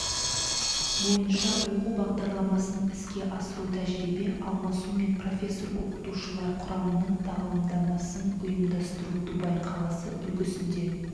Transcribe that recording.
бойынша оқу бағдарламасын іске асыру тәжірибе алмасу мен профессор-оқытушылар құрамының тағылымдамасын ұйымдастыру дубай қаласы үлгісінде